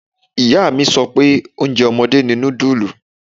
Ìyá mi sọ pé oúnjẹ ọmọdé ni nudulu.